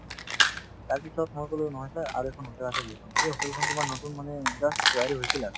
তাৰপিছত মই কলো নহয় sir আৰু এখন hotel আছে বুলি কলো সেই hotel খন তোমাৰ নতুন মানে just তৈয়াৰী হৈছিল আৰু